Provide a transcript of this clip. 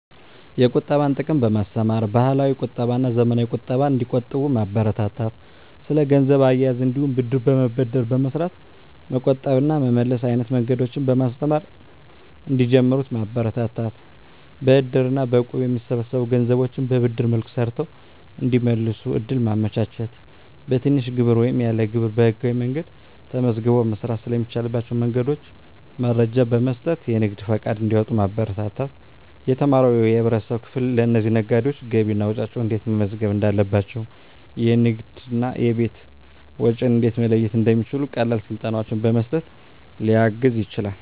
የቁጠባን ጥቅም በማስተማር፣ ባህላዊ ቁጠባና ዘመናዊ ቁጠባን እንዲቆጥቡ ማበረታታት። ስለ ገንዘብ አያያዝ እንዲሁም ብድር በመበደር በመስራት መቆጠብ እና መመለስ አይነት መንገዶችን በማስተማር እንዲጀምሩት ማበረታታት። በእድር እና በእቁብ የሚሰበሰቡ ገንዘቦችን በብድር መልክ ሰርተው እንዲመልሱ እድል ማመቻቸት። በትንሽ ግብር ወይም ያለ ግብር በህጋዊ መንገድ ተመዝግቦ መስራት ስለሚቻልባቸው መንገዶች መረጃ በመስጠት የንግድ ፈቃድ እንዲያወጡ ማበረታታት። የተማረው የህብረተሰብ ክፍል ለእነዚህ ነጋዴዎች ገቢና ወጪያቸውን እንዴት መመዝገብ እንዳለባቸው፣ የንግድና የቤት ወጪን እንዴት መለየት እንደሚችሉ ቀላል ስልጠናዎችን በመስጠት ሊያግዝ ይችላል።